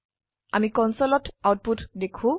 আমিকনসোলত output দেখো